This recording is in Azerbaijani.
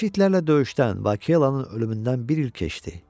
Vəhşi itlərlə döyüşdən, Bakelanın ölümündən bir il keçdi.